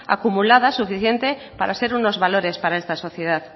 acumuladas suficiente para ser unos valores para esta sociedad